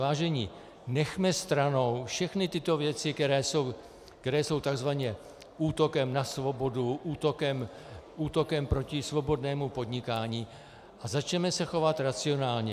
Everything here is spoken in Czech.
Vážení, nechme stranou všechny tyto věci, které jsou takzvaně útokem na svobodu, útokem proti svobodnému podnikání, a začněme se chovat racionálně.